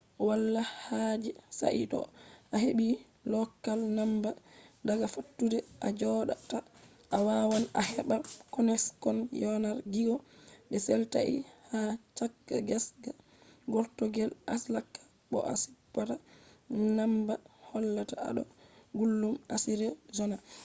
wala haaje sai to a heɓi lokal namba daga fattude a jooɗa ta,a waawan a heɓa konekshon yanar gizo be setlait ha caka gesa gortooɗe alaska bo a supta namba hollata a ɗo gulɗum arizona